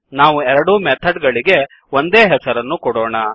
ನಾವು ಎರಡೂ ಮೆಥಡ್ ಗಳಿಗೆ ಒಂದೇ ಹೆಸರನ್ನು ಕೊಡೋಣ